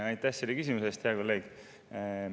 Aitäh selle küsimuse eest, hea kolleeg!